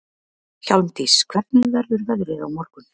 Hjálmdís, hvernig verður veðrið á morgun?